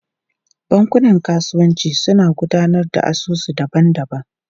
Bankunan kasuwanci suna gudanar da asusu daban-daban.